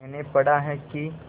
मैंने पढ़ा है कि